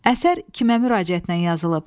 Əsər kimə müraciətlə yazılıb?